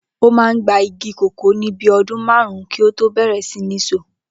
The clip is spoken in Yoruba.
Ó máa ń gba igi kòkó ní bí i o̩dún márùn-ún kí ó tó bè̩rè̩ sí ní so